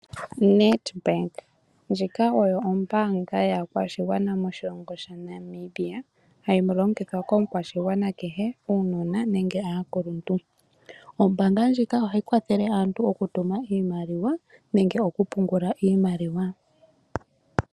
Nedbank ndjika oyo ombaanga yaakwashigwana moshilongo sha Namibia, hayi longithwa komukwashigwana kehe, uunona nenge aakuluntu. Ombaanga ndjika ohayi kwathele aantu okutuma iimaliwa nenge okupungula iimaliwa.